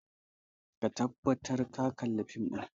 Ka tabbata ka kalla fim ɗin!